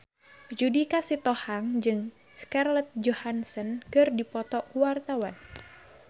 Judika Sitohang jeung Scarlett Johansson keur dipoto ku wartawan